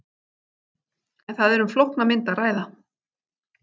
En það er um flókna mynd að ræða.